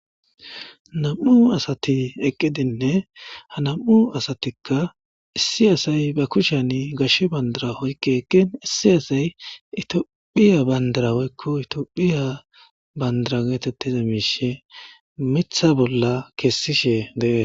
Nam'u asati eqqidinne ha nam'u asatikka issi asay ba kushan gashshe bandara hoykke ekkin issi asay itiophiya bandarawoykko itophiya bandira geetettiza miishe mitha bolla keessishe dee.